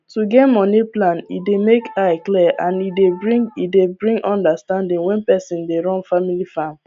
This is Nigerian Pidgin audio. to get moni plan dey make eye clwar and e dey bring e dey bring understanding when person dey run family farm